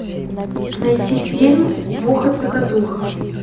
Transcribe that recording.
найти фильм муха цокотуха